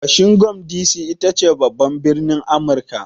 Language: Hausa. Washington D.C ita ce babban birnin Amurika.